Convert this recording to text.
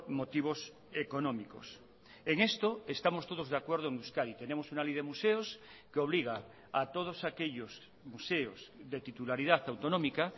motivos económicos en esto estamos todos de acuerdo en euskadi tenemos una ley de museos que obliga a todos aquellos museos de titularidad autonómica